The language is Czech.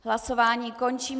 Hlasování končím.